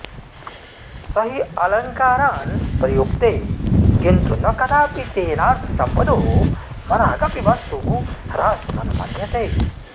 स हि अलङ्कारान् प्रयुङ्क्ते किन्तु न कदापि तेनार्थसम्पदो मनागपि वस्तु ह्रासमनुमन्यते